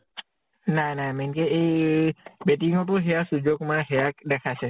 নাই নাই । main কে এই batting ৰ টো হেয়া সুৰ্য়া কুমাৰে হেয়া দেখাইছে